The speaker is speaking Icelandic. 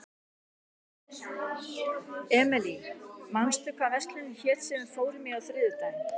Emely, manstu hvað verslunin hét sem við fórum í á þriðjudaginn?